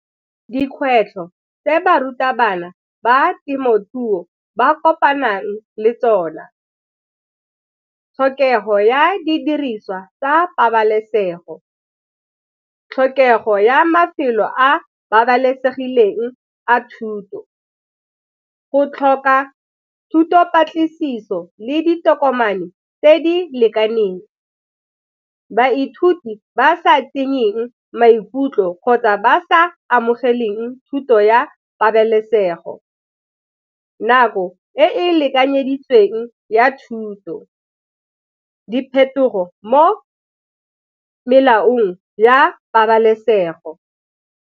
Dikgwetlho tse barutabana ba temothuo ba kopanang le tsona, tlhokego ya didiriswa tsa pabalesego. Tlhokego ya mafelo a a babalesegileng a thuto, go tlhoka thuto patlisiso le ditokomane tse di lekaneng baithuti ba sa fenyeng maikutlo kgotsa ba sa amogeleng thuto ya pabalesego, nako e e lekanyeditsweng ya thuto, diphetogo mo molaong ya pabalesego.